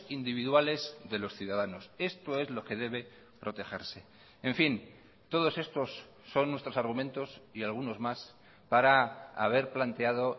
individuales de los ciudadanos esto es lo que debe protegerse en fin todos estos son nuestros argumentos y algunos más para haber planteado